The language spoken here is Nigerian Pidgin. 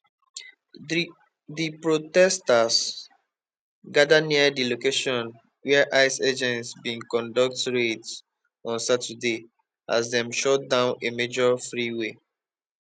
di protesters gada near di location wia ice agents bin conduct raids on saturday as dem shut down a major freeway